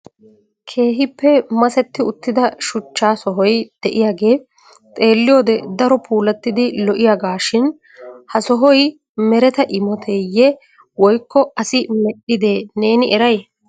Keehippe masetti uttida shuchcha sohoy de'iyaage xeelliyood daro puulattidi lo"iyaaga shin ha sohoy mereta imotteye woyko asi medhdhide neeni eray?